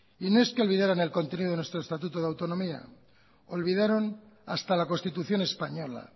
y no es que olvidaran el contenido de nuestro estatuto de autonomía olvidaron hasta la constitución española